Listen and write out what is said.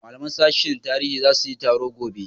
malaman sashin tarihi zasu yi taro gobe